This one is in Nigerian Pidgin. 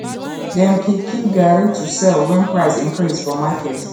dem keep keep garri to sell wen price increase for market